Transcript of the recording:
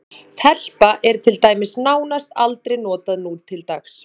Telpa er til dæmis nánast aldrei notað nútildags.